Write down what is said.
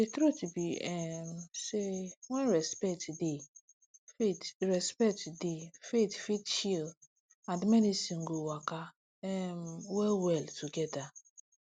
truth be um say when respect dey faith respect dey faith fit chill and medicine go waka um well well together